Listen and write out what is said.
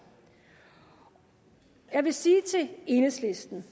jeg vil sige til enhedslisten